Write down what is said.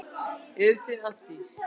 Eruð þið að því?